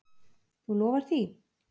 Þú lofar því?